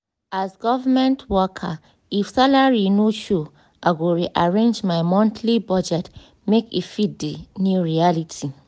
as government worker if salary no sure i go re-arrange my monthly budget make e fit the new reality.